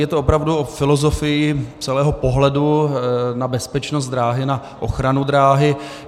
Je to opravdu o filozofii celého pohledu na bezpečnost dráhy, na ochranu dráhy.